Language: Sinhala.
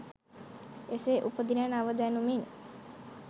එසේ උපදින නව දැනුමින්